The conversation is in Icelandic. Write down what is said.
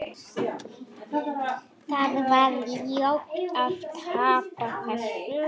Það var ljótt að tapa þessu.